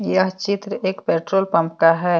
यह चित्र एक पेट्रोल पंप का है।